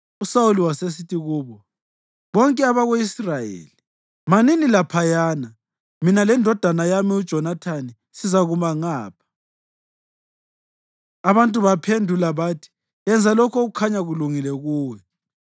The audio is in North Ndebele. USawuli wasesithi kubo bonke abako-Israyeli, “Manini laphayana; mina lendodana yami uJonathani sizakuma ngapha.” Abantu baphendula bathi, “Yenza lokho okukhanya kulungile kuwe.”